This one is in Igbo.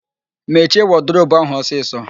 Mechie wọdụrobu ahụ ọsịsọ!